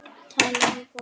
Tala við fólkið.